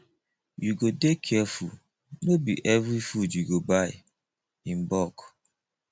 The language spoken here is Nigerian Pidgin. you go dey careful no be every food you go buy in bulk